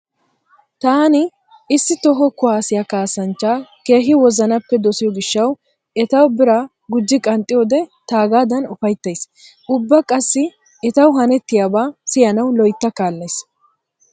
Taani issi toho kuwaassiya kaassanchchaa keehi wozanappe dosiyo gishshawu etawu bira gujji qanxxiyoode taagadan ufayttays. Ubba qassi etawu hanettiyaaba siyanawu loytta kaallays.